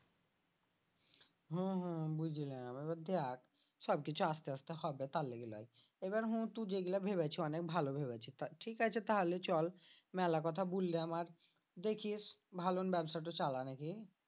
হম হম বুঝলাম এবার দেখ সব কিছু আস্তে আস্তে হবে তার লিগে লই এবার হু তু যেগুলা ভেবেছি অনেক ভালো ভেবেছি তা ঠিক আছে তাহলে চল মেলা কথা বুললাম আর দেখিস ভালোন ব্যবসাটা চালা নাকি?